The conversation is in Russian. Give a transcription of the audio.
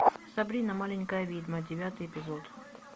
сабрина маленькая ведьма девятый эпизод